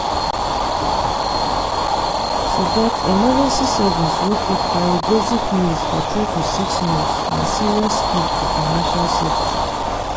to get emergency savings wey fit carry basic needs for 3 to 6 months na serious key to financial safety.